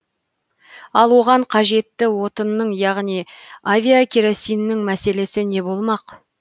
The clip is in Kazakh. ал оған қажетті отынның яғни авиакеросиннің мәселесі не болмақ